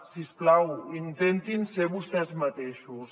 si us plau intentin ser vostès mateixos